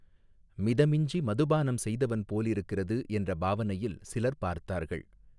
மிதமிஞ்சி மதுபானம் செய்தவன் போலிருக்கிறது என்ற பாவனையில் சிலர் பார்த்தார்கள்.